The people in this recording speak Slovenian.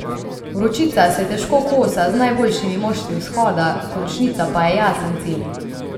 Vročica se težko kosa z najboljšimi moštvi Vzhoda, končnica pa je jasen cilj.